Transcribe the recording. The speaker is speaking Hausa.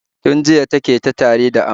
Tun jiya ta ke ta tari da amai.